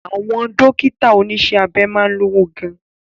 Àwọn Dókítà oníṣẹ́ abẹ máa ń lówó gan